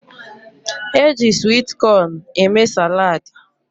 Eji swit cón eme salaadi